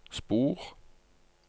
spor